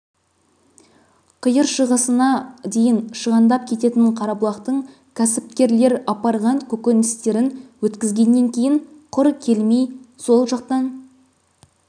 қиыр шығысына дейін шығандап кететін қарабұлақтық кәсіпкерлер апарған көкөністерін өткізгеннен кейін құр келмей сол жақтан